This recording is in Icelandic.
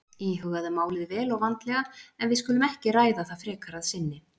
Íhugaðu málið vel og vandlega en við skulum ekki ræða það frekar að sinni